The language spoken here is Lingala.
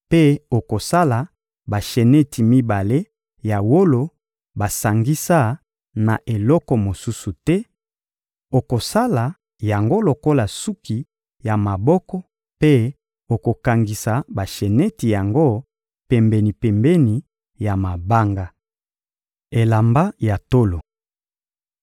mpe okosala basheneti mibale ya wolo basangisa na eloko mosusu te; okosala yango lokola suki ya maboko mpe okokangisa basheneti yango pembeni-pembeni ya mabanga. Elamba ya tolo